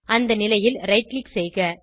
அந்த நிலையில் right click செய்க